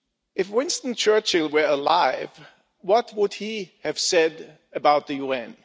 If Winston Churchill were alive, what would he have said about the UN?